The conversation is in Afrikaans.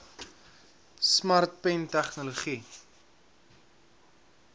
smart pen tegnologie